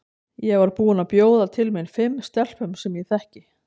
Ég var búin að bjóða til mín fimm stelpum sem ég þekki.